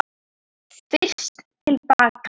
FYRST TIL BAKA.